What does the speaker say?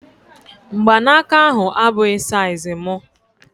Mgbanaka ahu abụghị saiz mụ